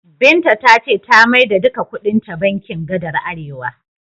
Binta ta ce ta maida duka kuɗinta bankin gadar Arewa.